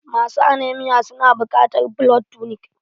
Masu aneamia su na buƙatan blood tunik